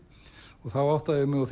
og þá áttaði ég mig á